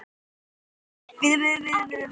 Elsku amma Magga mín.